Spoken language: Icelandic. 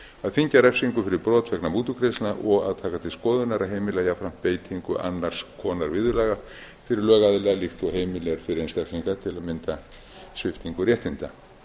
þyngja refsingu fyrir brot vegna mútugreiðslna og að taka til skoðunar að heimila jafnframt beitingu annars konar viðurlaga fyrir lögaðila líkt og heimil er fyrir einstaklinga til að mynda sviptingu réttinda